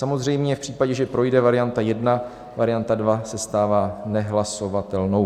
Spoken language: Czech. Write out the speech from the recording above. Samozřejmě v případě, že projde varianta 1, varianta 2 se stává nehlasovatelnou.